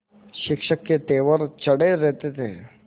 शिक्षक के तेवर चढ़े रहते थे